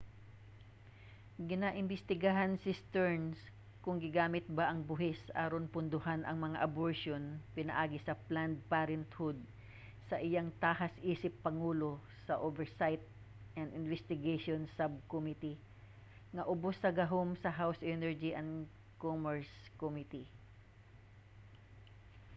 ginaimbestigahan ni stearns kon gigamit ba ang buhis aron pondohan ang mga aborsyon pinaagi sa planned parenthood sa iyang tahas isip pangulo sa oversight and investigations subcommittee nga ubos sa gahom sa house energy and commerce committee